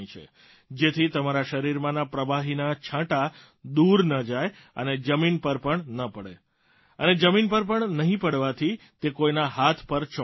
જેથી તમારા શરીરમાંના પ્રવાહીના છાંટા દૂર ન જાય અને જમીન પર પણ ન પડે અને જમીન પર નહીં પડવાથી તે કોઇના હાથ પર ચોંટતા નથી